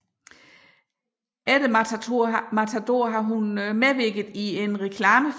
Efter Matador har hun medvirket i en reklamefilm